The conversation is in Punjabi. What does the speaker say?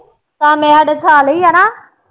ਕਾਮੇ ਸਾਡੇ ਸਾਲੇ ਹੀ ਆ ਨਾ।